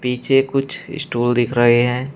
पीछे कुछ स्टूल दिख रहे हैं।